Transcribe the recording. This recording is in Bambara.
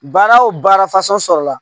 Baara o baara fasɔn sɔrɔla